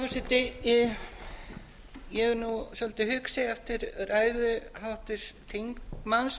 virðulegi forseti ég er nú svolítið hugsi eftir ræðu háttvirts þingmanns